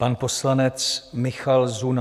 Pan poslanec Michal Zuna.